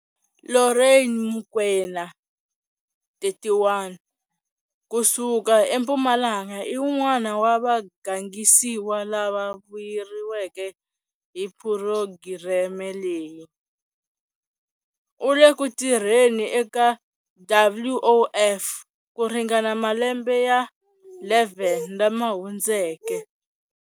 Lorraine Mokoena, 31, ku suka eMpumalanga i wun'wana wa vagangisiwa lava vuyeriweke hi phurogireme leyi. U le ku tirheni eka WOF ku ringana malembe ya 11 lama hundzeke.